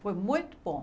Foi muito bom.